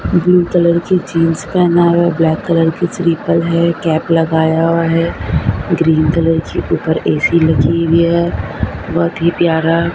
blue colour की jeans पेहना है और ब्लैक कलर की स्लीपर है कैप लगाया हुआ है ग्रीन कलर की ऊपर ए_सी लगी हुई है बहोत ही प्यारा--